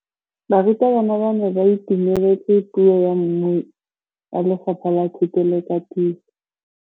Barutabana ba ne ba itumeletse puô ya mmui wa Lefapha la Thuto le Katiso.